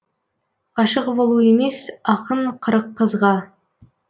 ғашық болу емес ақын қырық қызға